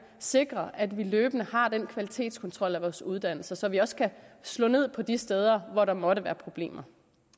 sikrer at vi løbende har den kvalitetskontrol af vores uddannelser så vi også kan slå ned på de steder hvor der måtte være problemer